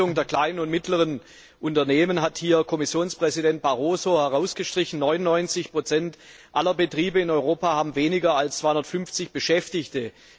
Die Bedeutung der kleinen und mittleren Unternehmen hat Kommissionspräsident Barroso hier herausgestrichen 99 aller Betriebe in Europa haben weniger als 250 Beschäftigte.